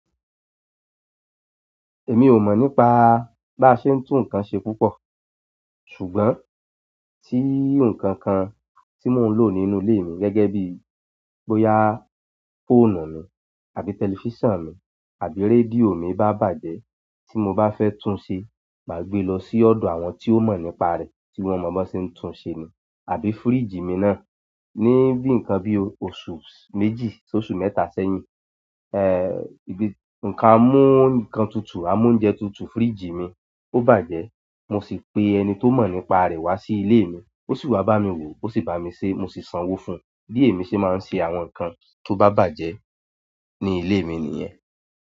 Èmi ò mọ̀ nípa bá ṣe ń tún nǹkan ṣe púpọ̀. Ṣùgbọ́n tí nǹkan kan tí mò ń lò nínú ilé mi gẹ́gẹ́ bíi bóyá fóònù mi àbí tẹlifíṣàn mi àbí rédíò mi bá bàjẹ́ tí mo bá fẹ́ tún ṣe má gbé lọ sí ọ̀dọ̀ àwọn tí ó mọ̀ nípa rẹ̀ tí wọ́n mọ b'ọ́n ṣe ń tún un ṣe ni. Àbí fíríjì mi náà ní bíi nǹkan bí i oṣù méjì s'óṣù mẹ́ta sẹ́yìn. Ẹ́, ibi nǹkan á mú nǹkan tutù, amóúnjẹ tutù fíríjì mi, ó bàjẹ́. Mo sì pe ẹni tó mọ̀ nípa rẹ̀ wá sí ilé mi. Ó sì wá bá mi wò o, ó sì bá mi sé e, mo sì sanwó fún un. Bí èmi ṣe máa ń ṣe àwọn nǹkan tó bá bàjẹ́ ní ilé mi nìyẹn.